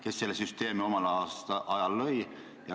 Kes selle süsteemi omal ajal lõi?